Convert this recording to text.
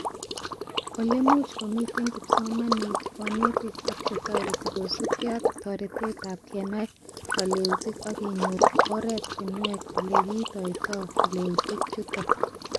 Olemuch komite kipsomanink, konetik ak chetoreti kosubke ak toeretetab kenai kaleutik ak kenyor oretinwek olekiitoitoi keleutik chuto